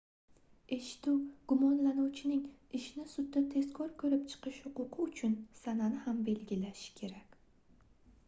eshituv gumonlanuvchining ishni sudda tezkor koʻrib chiqish huquqi uchun sanani ham belgilashi kerak